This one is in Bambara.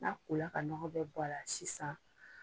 N'a kola ka nɔgɔ bɛ bɔ a la sisan